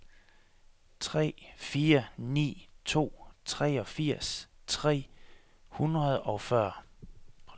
tre fire ni to treogfirs tre hundrede og fyrre